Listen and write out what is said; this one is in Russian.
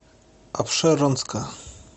апшеронска